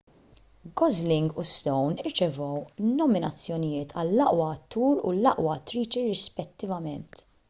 gosling u stone rċevew nominazzjonijiet għall-aqwa attur u l-aqwa attriċi rispettivament